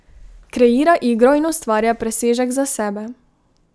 Kreira igro in ustvarja presežek za sebe.